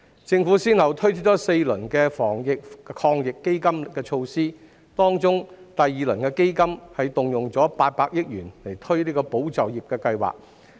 政府先後推出4輪防疫抗疫基金措施，當中第二輪基金動用800億元推出"保就業"計劃。